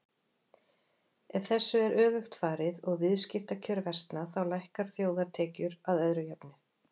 Ef þessu er öfugt farið og viðskiptakjör versna þá lækka þjóðartekjur að öðru jöfnu.